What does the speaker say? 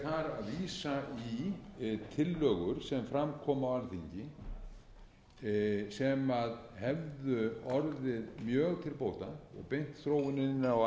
tillögur sem fram koma á alþingi sem hefðu orðið mjög til bóta og beint þróuninni á